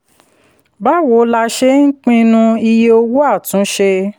báwo la ṣe ń pinnu iye owó àtúnṣe?